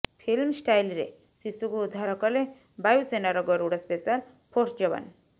film ଷ୍ଟାଇଲ୍ରେ ଶିଶୁକୁ ଉଦ୍ଧାର କଲେ ବାୟୁସେନାର ଗରୁଡ଼ ସ୍ପେଶାଲ୍ ଫୋର୍ସ ଯବାନ